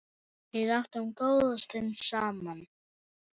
Við áttum góða stund saman.